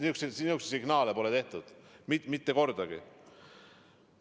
Niisuguseid signaale pole antud mitte kordagi.